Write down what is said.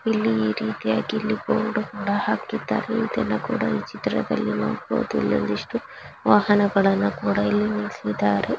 ಇಲ್ಲಿ ರೀತಿಯಾಗಿ ಬೋರ್ಡ್ ಕೂಡಾ ಹಾಕಿದ್ದಾರೆ ಇದನ್ನಕುಡ ಇ ಚಿತ್ರದಲ್ಲಿ ನೋಡಬಹುದು ಇಲ್ಲೊಂದಿಷ್ಟು ವಾಹನಗಳನ್ನು ಕೂಡಾ ಇಲ್ಲಿ ನಿಲ್ಸಿದ್ದರೆ.